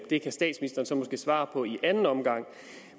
det kan statsministeren så måske svare på i anden omgang